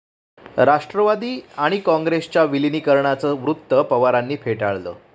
राष्ट्रवादी आणि काँग्रेसच्या विलिनीकरणाचं वृत्त पवारांनी फेटाळलं